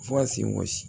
Fo ka sen wɔsi